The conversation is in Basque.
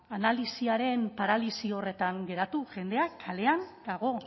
analisiaren paralisi horretan geratu jendea kalean dago